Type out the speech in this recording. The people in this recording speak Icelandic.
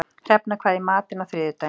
Hrefna, hvað er í matinn á þriðjudaginn?